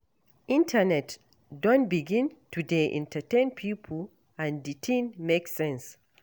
Internet don begin to dey entertain pipo and di tin make sense.